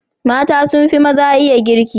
Mata sun fi maza iya girki.